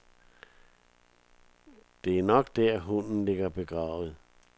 Det er nok der, hunden ligger begravet.